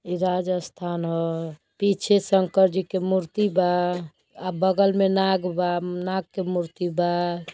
इ राजस्थान ह। पीछे शंकर जी के मूर्ति बा आ बगल में नाग बा नाग के मूर्ति बा।